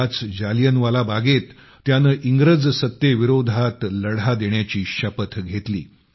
त्याच जालियनवाला बागेत त्याने इंग्रज सत्तेविरोधात लढा देण्याची शपथ घेतली